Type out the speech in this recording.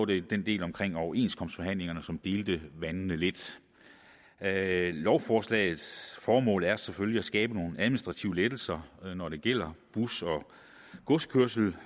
det den del om overenskomstforhandlingerne som delte vandene lidt lovforslagets formål er selvfølgelig at skabe nogle administrative lettelser når det gælder bus og godskørsel